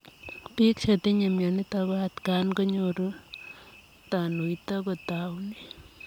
Piik chetinyee mionitok ko atakaan koraa konyoruu tanuito kotaunee